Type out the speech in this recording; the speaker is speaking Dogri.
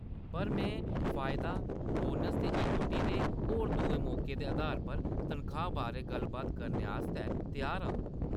पर में फायदा, बोनस, इक्विटी ते होर दुए मौकें दे अधार उप्पर तनखाह्‌‌ बारै गल्ल-बात करने आस्तै त्यार आं।